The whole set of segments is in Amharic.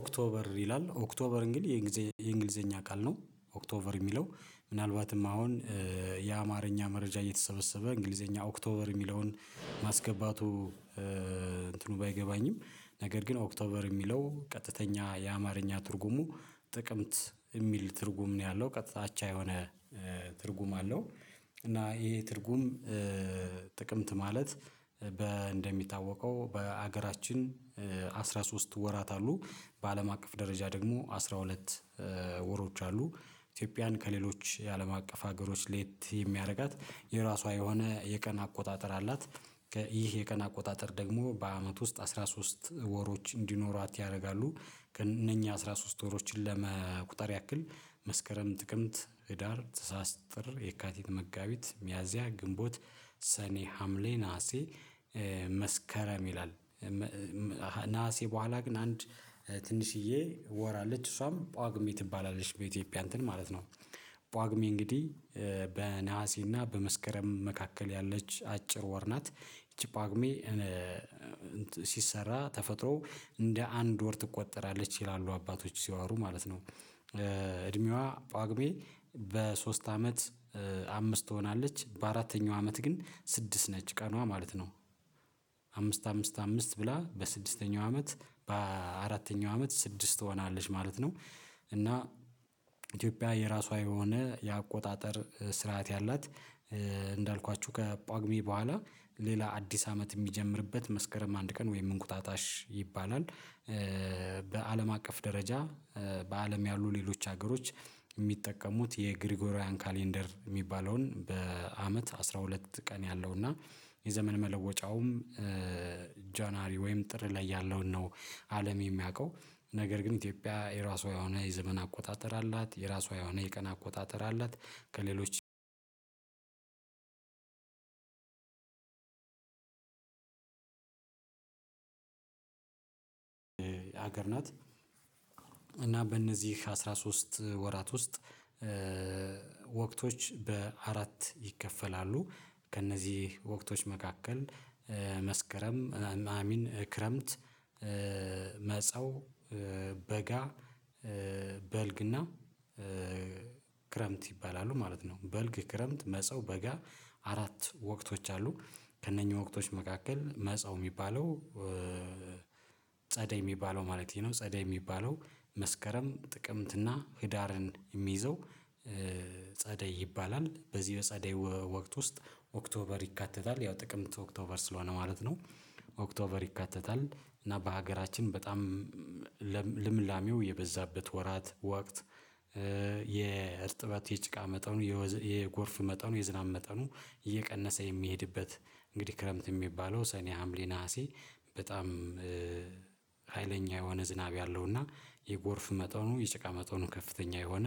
ኦክቶበር ይላል። ኦክቶበር እንግዲህ የእንግሊዘኛ ቃል ነው። ኦክቶበር የሚለው ምናልባትም አሁን የአማርኛ መረጃ እየተሰበሰበ እንግሊዘኛ ኦክቶበር የሚለውን ማስገባቱ እንትኑ ባይገባኝም ነገር ግን ኦክቶበር የሚለው ቀጥተኛ የአማርኛ ትርጉሙ ጥቅምት የሚል ትርጉም ነው ያለው። ቀጥታ አቻ የሆነ ትርጉም አለው። እና ይሄ ትርጉም ጥቅምት ማለት በ እንደሚታወቀው በሀገራችን አስራ ሶስት ወራት አሉ። በአለም አቀፍ ደረጃ ደግሞ አስራ ሁለት ወሮች አሉ። ኢትዮጵያን ከሌሎች የአለም አቀፍ ሀገሮች ለየት የሚያደርጋት የራሷ የሆነ የቀን አቆጣጠር አላት። ይህ የቀን አቆጣጠር ደግሞ በአመት ውስጥ አስራ ሶስት ወሮች እንዲኖራት ያደርጋሉ። እነኚህ አስራ ሶስት ወሮችን ለመቁጠር ያክል መስከረም ጥቅምት ህዳር ታህሳስ ጥር የካቲት መጋቢት ሚያዚያ ግንቦት ሰኔ ሀምሌ ነሀሴ መስከረም ይላል። ነሀሴ በኋላ ግን አንድ ትንሽዬ ወር አለች። እሷም ጳጉሜ ትባላለች በኢትዮጵያ እንትን ማለት ነው። ጳጉሜ እንግዲህ በነሀሴና በመስከረም መካከል ያለች አጭር ወር ናት። ይቺ ጳጉሜ ሲሰራ ተፈጥሮ እንደ አንድ ወር ትቆጠራለች ይላሉ አባቶች ሲዋሩ ማለት ነው። እድሜዋ ጳጉሜ በሶስት አመት አምስት ትሆናለች። በአራተኛው አመት ግን ስድስት ነች። ቀኗ ማለት ነው። አምስት አምስት አምስት ብላ በስድስተኛው አመት በአራተኛው አመት ስድስት ትሆናለች ማለት ነው። እና ኢትዮጵያ የራሷ የሆነ የአቆጣጠር ስርዓት ያላት እንዳልኳችሁ ከጳጉሜ በኋላ ሌላ አዲስ አመት የሚጀምርበት መስከረም አንድ ቀን ወይም እንቁጣጣሽ ይባላል። በአለም አቀፍ ደረጃ በአለም ያሉ ሌሎች ሀገሮች የሚጠቀሙት የግሪጎሪያን ካሌንደር የሚባለውን በአመት አስራ ሁለት ቀን ያለው እና የዘመን መለወጫውም ጃንዋሪ ወይም ጥር ላይ ያለውን ነው አለም የሚያውቀው። ነገር ግን ኢትዮጵያ የራሷ የሆነ የዘመን አቆጣጠር አላት። የራሷ የሆነ የቀን አቆጣጠር አላት። ከሌሎች ሀገር ናት። እና በእነዚህ አስራ ሶስት ወራት ውስጥ ወቅቶች በአራት ይከፈላሉ። ከእነዚህ ወቅቶች መካከል መስከረም አሚን ክረምት፣ መጸው፣ በጋ፣ በልግና ክረምት ይባላሉ ማለት ነው። በልግ ክረምት መጸው በጋ አራት ወቅቶች አሉ። ከእነኚህ ወቅቶች መካከል መጸው የሚባለው ጸደይ የሚባለው ማለት ነው። ጸደይ የሚባለው መስከረም ጥቅምትና ህዳርን የሚይዘው ጸደይ ይባላል። በዚህ በጸደይ ወቅት ውስጥ ኦክቶበር ይካተታል። ያው ጥቅምት ኦክቶበር ስለሆነ ማለት ነው። ኦክቶበር ይካተታል። እና በሀገራችን በጣም ልምላሜው የበዛበት ወራት ወቅት የእርጥበት የጭቃ መጠኑ የጎርፍ መጠኑ የዝናብ መጠኑ እየቀነሰ የሚሄድበት እንግዲህ ክረምት የሚባለው ሰኔ ሀምሌ ነሀሴ በጣም ሀይለኛ የሆነ ዝናብ ያለው እና የጎርፍ መጠኑ የጭቃ መጠኑ ከፍተኛ የሆነ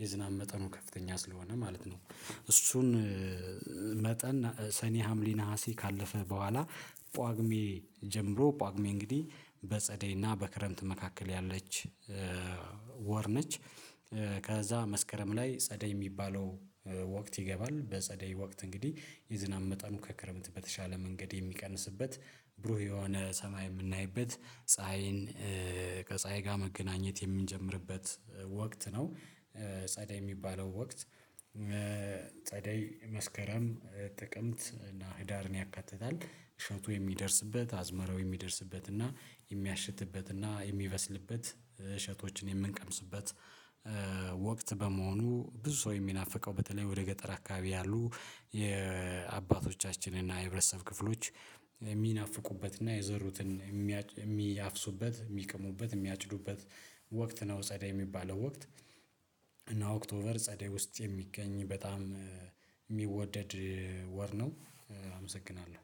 የዝናብ መጠኑ ከፍተኛ ስለሆነ ማለት ነው። እሱን መጠን ሰኔ ሀምሌ ነሀሴ ካለፈ በኋላ ጳጉሜ ጀምሮ ጳጉሜ እንግዲህ በጸደይና በክረምት መካከል ያለች ወር ነች። ከዛ መስከረም ላይ ጸደይ የሚባለው ወቅት ይገባል። በጸደይ ወቅት እንግዲህ የዝናብ መጠኑ ከክረምት በተሻለ መንገድ የሚቀንስበት ብሩህ የሆነ ሰማይ የምናይበት ፀሀይን ከጸሀይ ጋር መገናኘት የምንጀምርበት ወቅት ነው። ጸዳይ የሚባለው ወቅት ጸደይ መስከረም ጥቅምት እና ህዳርን ያካትታል። እሸቱ የሚደርስበት አዝመራው የሚደርስበት እና የሚያሽትበት እና የሚበስልበት እሸቶችን የምንቀምስበት ወቅት በመሆኑ ብዙ ሰው የሚናፍቀው በተለይ ወደ ገጠር አካባቢ ያሉ የአባቶቻችን እና የህብረተሰብ ክፍሎች የሚናፍቁበት እና የዘሩትን የሚያፍሱበት የሚቅሙበት የሚያጭዱበት ወቅት ነው ጸደይ የሚባለው ወቅት። እና ኦክቶበር ጸደይ ውስጥ የሚገኝ በጣም የሚወደድ ወር ነው። አመሰግናለሁ።